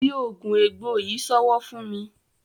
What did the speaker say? di oògùn egbò yí sowo fún mí.